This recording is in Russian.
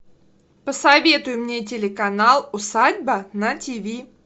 посоветуй мне телеканал усадьба на тв